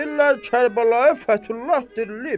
Deyirlər Kərbəlayı Fəthullah dirilib.